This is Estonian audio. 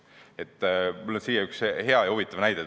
Mul on siinkohal tuua üks hea ja huvitav näide.